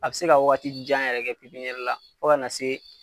A bɛ se ka waati jan yɛrɛ kɛ pepiniyɛri la fo ka na se